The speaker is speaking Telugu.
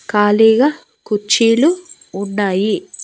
ఖాళీగా కుర్చీలు ఉన్నాయి.